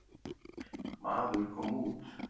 Maður kom út.